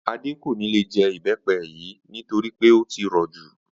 Adé kò ní lè je̩ ìbé̩pe̩ yìí nítorí pé ó ti rò̩ jù